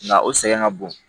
Nka o sɛgɛn ka bon